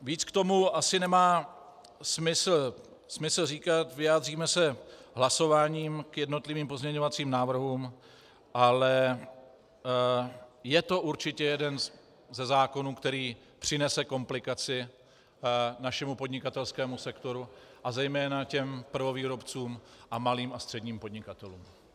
Více k tomu asi nemá smysl říkat, vyjádříme se hlasováním k jednotlivým pozměňovacím návrhům, ale je to určitě jeden ze zákonů, který přinese komplikaci našemu podnikatelskému sektoru a zejména těm prvovýrobcům a malým a středním podnikatelům.